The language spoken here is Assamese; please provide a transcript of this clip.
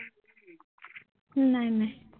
নাই নাই